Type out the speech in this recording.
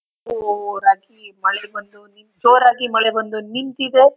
ಒಹ್ ರಾತ್ರಿ ಮಳೆ ಬಂದು ಜೋರಾಗಿ ಮಳೆ ಬಂದು ನಿಂತಿದೆ.